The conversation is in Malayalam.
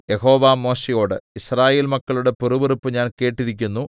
യഹോവ മോശെയോട് യിസ്രായേൽ മക്കളുടെ പിറുപിറുപ്പ് ഞാൻ കേട്ടിരിക്കുന്നു